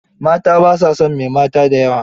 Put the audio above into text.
Mata ba sa son mai mata da yawa.